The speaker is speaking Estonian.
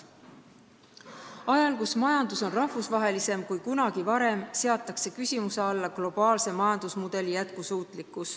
Ajal, kui majandus on rahvusvahelisem kui kunagi varem, seatakse küsimuse alla globaalse majandusmudeli jätkusuutlikkus.